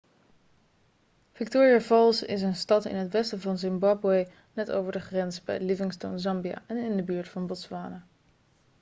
victoria falls is een stad in het westen van zimbabwe net over de grens bij livingstone zambia en in de buurt van botswana